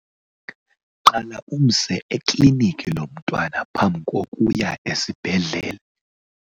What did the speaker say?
Qala umse eklinikhi lo mntwana phambi kokuya esibhedlele.